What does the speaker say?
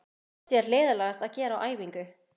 Hvað finnst þér leiðinlegast að gera á æfingu?